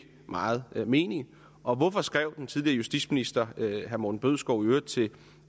meget mening og hvorfor skrev den tidligere justitsminister herre morten bødskov i øvrigt til